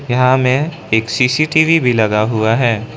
यहां में एक सी_सी_टी_वी भी लगा हुआ है।